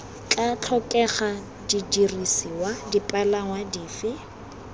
tla tlhokega didirisiwa dipalangwa dife